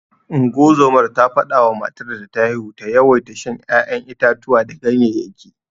Ungozomar ta fada wa matar da ta haihu ta yawaita shan ya'yan itatuwa da ganyeyyaki.